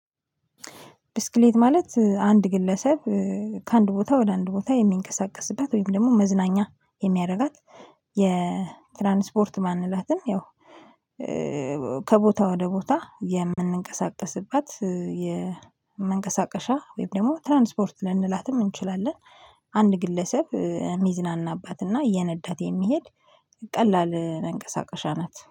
ብስክሌት ማለት አንድ ግለሰብ ከአንድ ቦታ ወደ አንድ ቦታ የሚንቀሳቀስበት ወይም ደግሞ መዝናኛ የሚያደርጋት የትራንስፖርት ባንላትም ያው ከቦታ ወደ ቦታ የምንቀሳቀስባት የመንቀሳቀሻ ወይም ደግሞ ትራንስፖርት ልንላትም እንችላለን። አንድ ግለሰብ ሚዝናናባትና እየነዳት የሚሄድ ቀላል መንቀሳቀሻ ናት